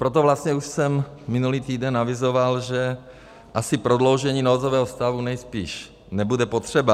Proto vlastně už jsem minulý týden avizoval, že asi prodloužení nouzového stavu nejspíš nebude potřeba.